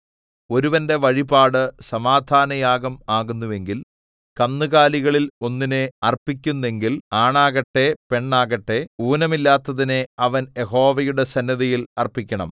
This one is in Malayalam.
ഒരുവന്റെ വഴിപാട് സമാധാനയാഗം ആകുന്നുവെങ്കിൽ കന്നുകാലികളിൽ ഒന്നിനെ അർപ്പിക്കുന്നെങ്കിൽ ആണാകട്ടെ പെണ്ണാകട്ടെ ഊനമില്ലാത്തതിനെ അവൻ യഹോവയുടെ സന്നിധിയിൽ അർപ്പിക്കണം